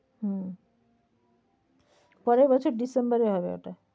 হম পরের বছর December এ হবে ওটা।